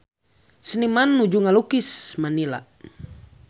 Seniman nuju ngalukis Manila